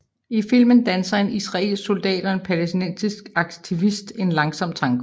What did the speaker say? I filmen danser en israelsk soldat og en palæstinensisk aktivist en langsom tango